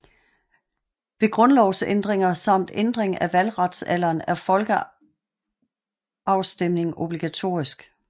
Ved grundlovsændringer samt ændring af valgretsalderen er folkeafstemning obligatorisk